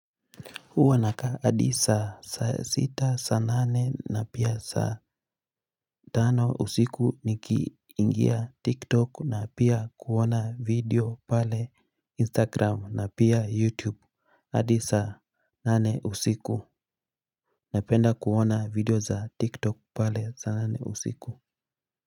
Uwa naka hadi saa saa sita saa nane na pia saa tano usiku nikiingia tiktok na pia kuona video pale instagram na pia youtube hadi saa nane usiku na penda kuona video za tiktok pale saa nane usiku.